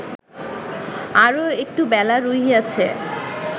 আরও একটু বেলা রহিয়াছে